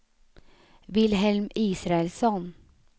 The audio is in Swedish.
Wilhelm Israelsson